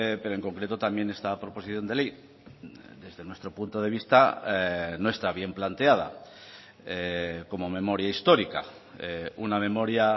pero en concreto también esta proposición de ley desde nuestro punto de vista no está bien planteada como memoria histórica una memoria